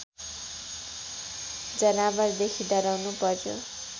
जनावरदेखि डराउनु पर्‍यो